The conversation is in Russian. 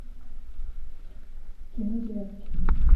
кино девятки